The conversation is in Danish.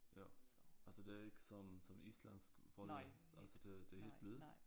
Ja altså det er ikke sådan som islandsk hvor det altså det er det helt blød?